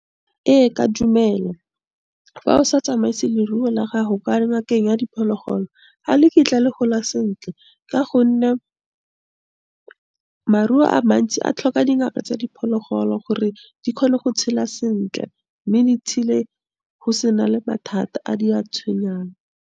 Ee ka dumela, fa o sa tsamaise leruo la gago ka ngakeng ya diphologolo, ga le kitla le gola sentle ka gonne maruo a mantsi a tlhoka dingaka tsa diphologolo gore di kgone go tshela sentle, mme di tshele go se na le mathata a di a tshwenyang.